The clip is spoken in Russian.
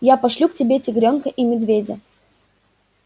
я пошлю к тебе тигрёнка и медведя